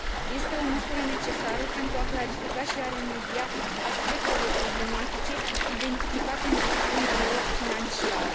Este o măsură necesară pentru a clarifica și a remedia aspectele problematice identificate în gestiunea lor financiară.